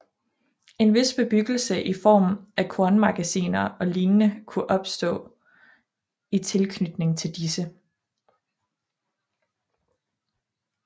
En vis bebyggelse i form af kornmagasiner og lignende kunne opstå i tilknytning til disse